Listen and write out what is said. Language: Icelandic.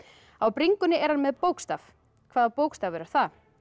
á bringunni er hann með bókstaf hvaða bókstafur er það